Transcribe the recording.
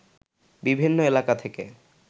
বিভিন্ন এলাকা থেকে